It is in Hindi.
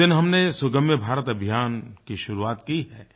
उस दिन हमने सुगम्य भारत अभियान की शुरुआत की है